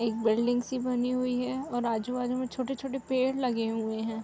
एक बिल्डिंग सी बनी हुई है और आजू-बाजू में छोटे-छोटे से पेड़ लगे हुए हैं।